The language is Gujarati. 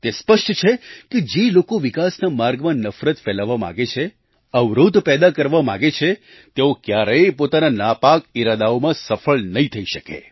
તે સ્પષ્ટ છે કે જે લોકો વિકાસના માર્ગમાં નફરત ફેલાવવા માગે છે અવરોધ પેદા કરવા માગે છે તેઓ ક્યારેય પોતાના નાપાક ઈરાદાઓમાં સફળ નહીં થઈ શકે